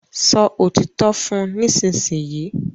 sọ òtítọ́ fún nísìsiyìí!